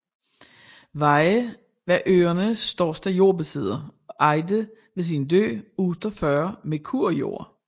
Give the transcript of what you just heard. Weyhe var øernes største jordbesidder og ejede ved sin død 48 merkur jord